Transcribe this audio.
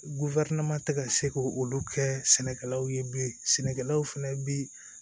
tɛ ka se k' olu kɛ sɛnɛkɛlaw ye bilen sɛnɛkɛlaw fɛnɛ bi